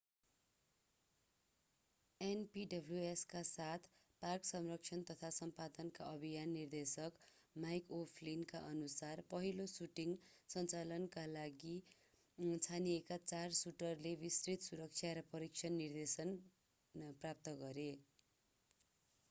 npws का साथ park संरक्षण तथा सम्पदाका अभिनय निर्देशक mick o'flynn काअनुसार पहिलो सुटिङ सञ्चालनका लागि छानिएका चार सुटरले विस्तृत सुरक्षा र प्रशिक्षण निर्देशन प्राप्त गरे